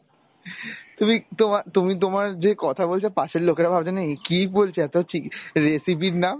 তুমি তোমার তুমি তোমার যে কথা বলছো পাশের লোকেরা ভাবছে না এ কি বলছে এত হচ্ছে recipe র নাম